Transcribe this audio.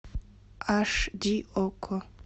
аш ди окко